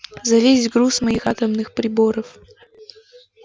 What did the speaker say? за весь груз моих атомных приборов